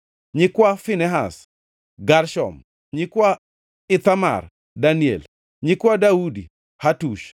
nyikwa Finehas, Gershom; nyikwa Ithamar, Daniel; nyikwa Daudi, Hatush